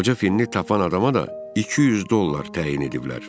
Qoca finni tapan adama da 200 dollar təyin eləyiblər.